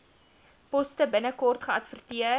poste binnekort geadverteer